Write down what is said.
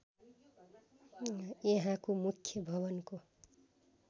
यहाँको मुख्य भवनको